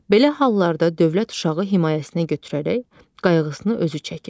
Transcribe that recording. Belə hallarda dövlət uşağı himayəsinə götürərək qayğısını özü çəkir.